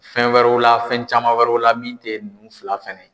Fɛn wɛrɛw la fɛn caman wɛrɛw la min tɛ ninnu fila fɛnɛ ye.